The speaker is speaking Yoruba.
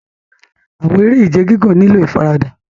Awọn ere-ije gigun nilo ifarada